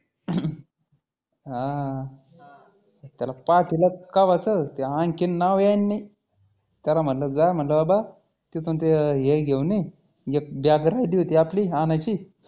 हा. त्याला पाठिलं कव्हाचं ते आनखी नायाय नाही. त्याला म्हटलं जा म्हटलं बाबा तीथुन ते हे घेऊन ये एक bag राहिली होती आपली आनायची